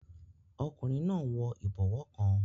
Ọkùnrin náà n wọ ìbọwọ́ kan